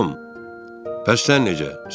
Tom, bəs sən necə?